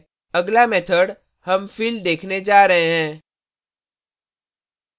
अगला method हम fill देखने जा रहे हैं